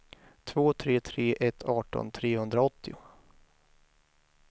två tre tre ett arton trehundraåttio